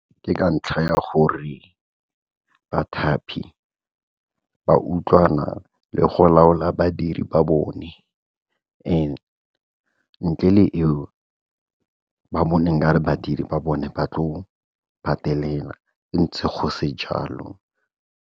Ke ka ntlha ya gore bathapi ba utlwana le go laola badiri ba bone and ntle le eo ba bone nka re badiri ba bone ba tlo patelela ntse go se jalo.